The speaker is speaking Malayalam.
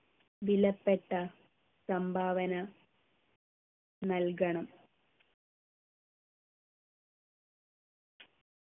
വിലപ്പെട്ട സംഭാവന നൽകണം